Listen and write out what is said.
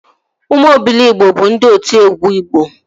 Ụmụ Obiligbo bụ ndị otiegwu igbo